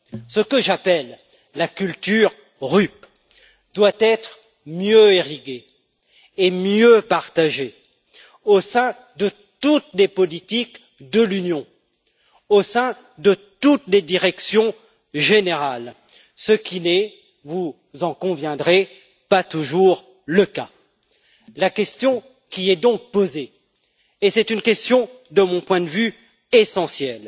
Ce que j'appelle la culture RUP doit être mieux irriguée et mieux partagée au sein de toutes les politiques de l'Union, au sein de toutes les directions générales, ce qui n'est, vous en conviendrez, pas toujours le cas. La question qui, de mon point de vue, est essentielle,